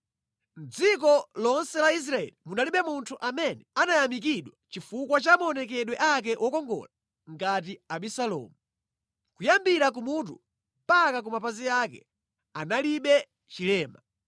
Mʼdziko lonse la Israeli munalibe munthu amene anayamikidwa chifukwa cha maonekedwe ake wokongola ngati Abisalomu. Kuyambira kumutu mpaka ku mapazi ake, analibe chilema.